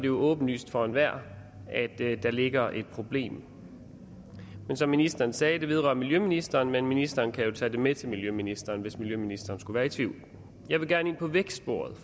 jo åbenlyst for enhver at der ligger et problem som ministeren sagde vedrører det miljøministeren men ministeren kan jo tage det med til miljøministeren hvis miljøministeren skulle være i tvivl jeg vil gerne ind på vækstsporet